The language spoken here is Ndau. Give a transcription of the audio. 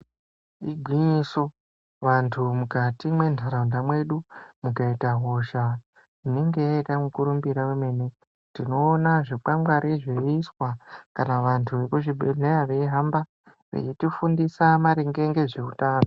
Igwinyiso vantu mukati mentaraunda mwedu mukaita hosha inenge yaita mukurumbira vemene. Tinoona zvikwangwani zviiswa kana vantu vekuzvibhedhleya veihamba veitifundisa maringe ngezveutano.